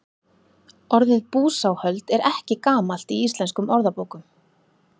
orðið búsáhöld er ekki gamalt í íslenskum orðabókum